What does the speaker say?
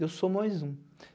Eu sou mais um.